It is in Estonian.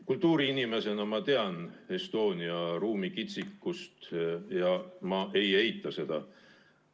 Kultuuriinimesena tean ma Estonia ruumikitsikust ja ma ei eita seda.